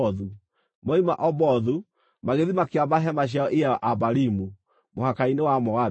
Moima Obothu, magĩthiĩ makĩamba hema ciao Iye-Abarimu, mũhaka-inĩ wa Moabi.